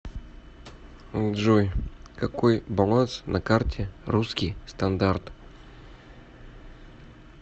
джой какой баланс на карте русский стандарт